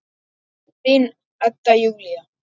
Þín, Edda Júlía.